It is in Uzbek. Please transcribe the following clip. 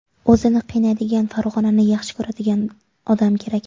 O‘zini qiynaydigan, Farg‘onani yaxshi ko‘radigan odam kerak.